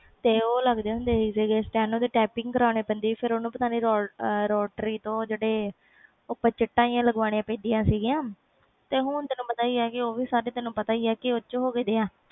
ਤੇ ਉਹ ਲੱਗਦੇ ਹੁੰਦੇ ਸੀ steno ਦੇ typing ਕਰਨੇ ਪੈਂਦੇ ਸੀ rotary ਤੋਂ ਚਿਟਾ ਲਾਗਵਾਨੀਆਂ ਪੈਂਦੀਆਂ ਸੀ ਤੇ ਹੁਣ ਤੈਨੂੰ ਪਤਾ ਸੀ ਆ ਕਿ ਓਹਦੇ ਵਿਚ ਉਹ ਗੇ ਆ'